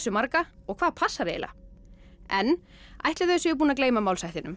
marga og hvað passar eiginlega en ætli þau séu búin að gleyma